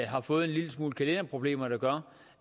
har fået en lille smule kalenderproblemer der gør